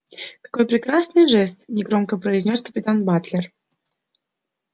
какой прекрасный жест негромко произнёс капитан батлер